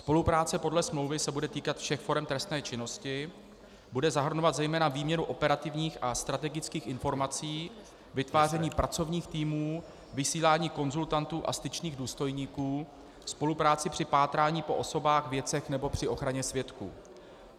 Spolupráce podle smlouvy se bude týkat všech forem trestné činnosti, bude zahrnovat zejména výměnu operativních a strategických informací, vytváření pracovních týmů, vysílání konzultantů a styčných důstojníků, spolupráci při pátrání po osobách, věcech nebo při ochraně svědků.